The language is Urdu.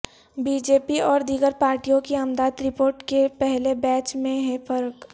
بی جے پی اور دیگر پارٹیوں کی امداد رپورٹ کے پہلے پیج میں ہے فرق